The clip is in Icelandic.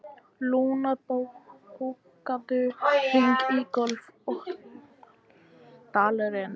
Luna, bókaðu hring í golf á laugardaginn.